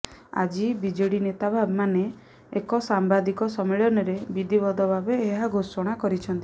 ଆଜି ବିଜେଡି ନେତା ମାନେ ଏକ ସାମ୍ବାଦିକ ସମ୍ମିଳନୀରେ ବିଧିବଦ୍ଧ ଭାବେ ଏହା ଘୋଷଣା କରିଛନ୍ତି